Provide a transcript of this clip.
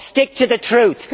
Stick to the truth.